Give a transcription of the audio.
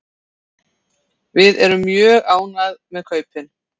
Við erum mjög ánægð með kaupin.